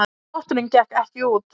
Potturinn gekk ekki út